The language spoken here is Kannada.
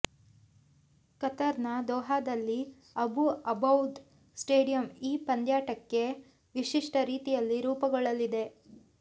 ಕತರ್ ನ ದೋಹಾದಲ್ಲಿ ಅಬು ಅಬೌದ್ ಸ್ಟೇಡಿಯಂ ಈ ಪಂದ್ಯಾಟಕ್ಕಾಗಿ ವಿಶಿಷ್ಟ ರೀತಿಯಲ್ಲಿ ರೂಪುಗೊಳ್ಳಲಿದೆ